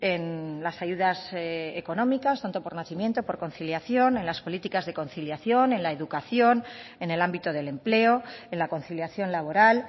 en las ayudas económicas tanto por nacimiento por conciliación en las políticas de conciliación en la educación en el ámbito del empleo en la conciliación laboral